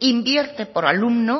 invierte por alumno